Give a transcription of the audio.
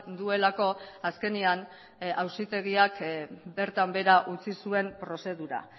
duelako azkenean auzitegiak bertan behera utzi zuen prozedura